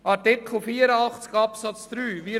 Zu Artikel 84 Absatz 3: